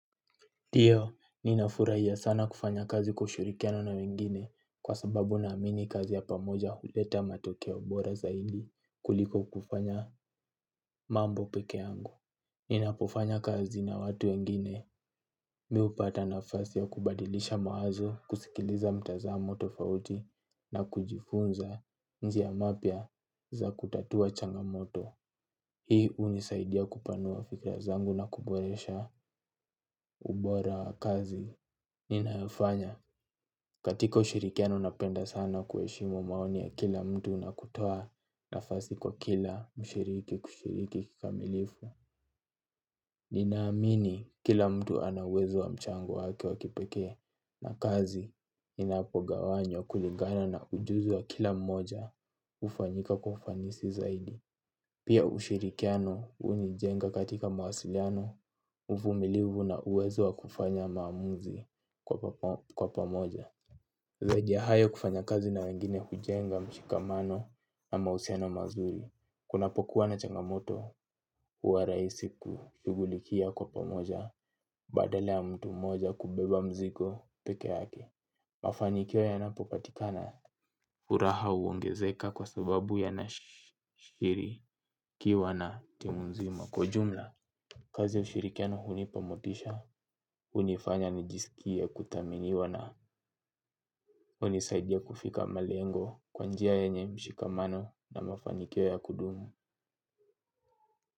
Ndio, ninafurahia sana kufanya kazi kushirikiana na wengine kwa sababu naamini kazi ya pamoja huleta matokeo bora zaidi kuliko kufanya mambo peke yangu. Ninapofanya kazi na watu wengine mi hupata nafasi ya kubadilisha mawazo kusikiliza mtazamo tofauti na kujifunza njia mapya za kutatua changamoto. Hii hunisaidia kupanua fikira zangu na kuboresha ubora wa kazi. Ninayofanya katika ushirikiano napenda sana kuheshimu maoni ya kila mtu na kutoa nafasi kwa kila mshiriki kushiriki kikamilifu. Ninaamini kila mtu ana uwezo wa mchango wake wa kipekee na kazi inapogawanywa kulingana na ujuzi wa kila mmoja hufanyika kwa ufanisi zaidi. Pia ushirikiano hunijenga katika mawasiliano uvumilivu na uwezo wa kufanya maamuzi kwa pamoja. Zaidi ya hayo kufanya kazi na wengine hujenga mshikamano na mahusiano mazuri. Kunapokuwa na changamoto huwa rahisi kushugulikia kwa pamoja badala ya mtu mmoja kubeba mzigo peke yake. Mafanikio yanapopatikana furaha huongezeka kwa sababu yanashirikiwa na timu nzima kwa ujumla. Kazi ya ushirikiano hunipa motisha, hunifanya nijisikie kuthaminiwa na hunisaidia kufika malengo kwa njia ya nye mshikamano na mafanikio ya kudumu.